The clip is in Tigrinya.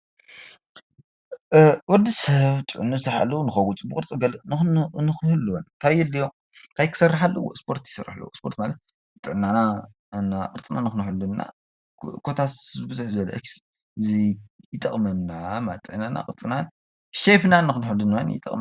ወዲ ሰብ ጥዕንኡ ዝተሓለወ ንክኸውን ጽቡቕ ቅርጺ ገለ ንክህልዎ ታይ የድልዮ ታይ ክሰርሕ ኣለዎ ስፖርቲ ክሰርሕ ኣለዎ ስፖርት ማለት ጥዕናና ቅርጽና ንክንሕሉ ኮታስ ብዝሕ ዝበለ አዚ ይጠቅመና ማለት እዩ ጥዕናና ቅርጽና ሼፕና ንክንሕሉ ድማ ይጠቅመና።